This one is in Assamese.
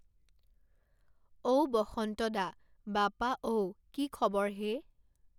অও বসন্ত দা বাপা ঔ কি খবৰ হে